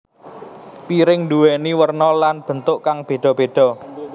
Piring nduwéni werna lan bentuk kang beda beda